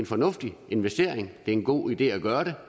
fornuftig investering det er en god idé at gøre det